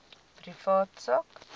privaat sak